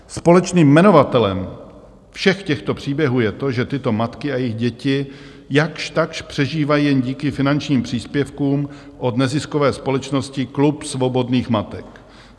Společným jmenovatelem všech těchto příběhů je to, že tyto matky a jejich děti jakž takž přežívají jen díky finančním příspěvkům od neziskové společnosti Klub svobodných matek.